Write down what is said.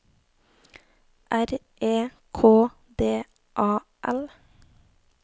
R E K D A L